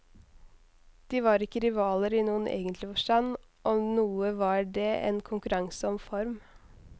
De var ikke rivaler i noen egentlig forstand, om noe var det en konkurranse om form.